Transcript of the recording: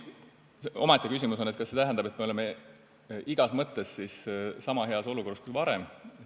Omaette küsimus on, kas see tähendab, et me oleme igas mõttes niisama heas olukorras kui varem.